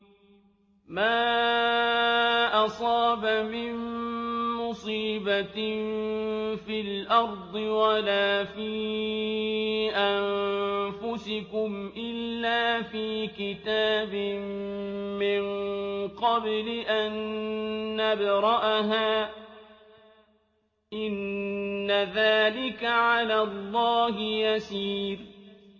مَا أَصَابَ مِن مُّصِيبَةٍ فِي الْأَرْضِ وَلَا فِي أَنفُسِكُمْ إِلَّا فِي كِتَابٍ مِّن قَبْلِ أَن نَّبْرَأَهَا ۚ إِنَّ ذَٰلِكَ عَلَى اللَّهِ يَسِيرٌ